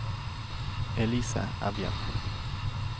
Elise Evjen